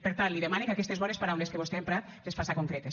per tant li demane que aquestes bones paraules que vostè ha emprat les faça concretes